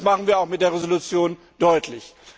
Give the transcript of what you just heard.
Und das machen wir auch mit der Resolution deutlich!